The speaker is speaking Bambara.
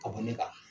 Ka bɔ ne kan